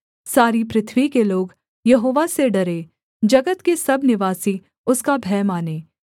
सारी पृथ्वी के लोग यहोवा से डरें जगत के सब निवासी उसका भय मानें